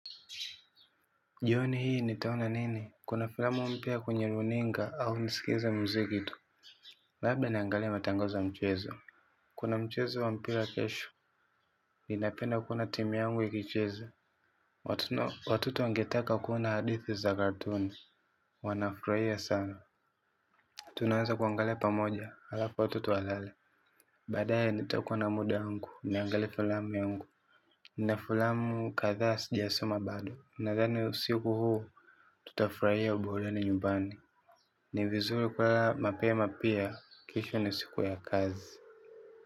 Jioni hii nitaona nini kuna filamu mpya kwenye runinga au nisikilize muziki tu labda niangalie matangazo ya michezo. Kuna mchezo wa mpira kesho, ninapenda kuona timu yangu ikicheza. Watoto wangetaka kuona hadithi za katuni, wanafurahia sana. Tunaweza kuangalia pamoja, halafu watoto walale. Baadaye nitakuwa na muda yangu, niangale filamu yangu. Nina filamu kadhaa sijasoma bado, nadhani usiku huu, tutafurahia burudani nyumbani. Ni vizuri kulala mapema pia, kesho ni siku ya kazi.